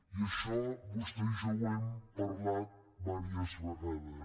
i això vostè i jo ho hem parlat diverses vegades